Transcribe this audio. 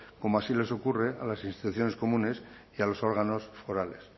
como así les ocurre a las instituciones comunes y a los órganos forales